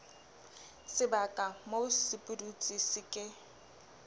sebaka moo sepudutsi se ke